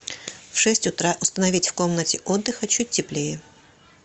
в шесть утра установить в комнате отдыха чуть теплее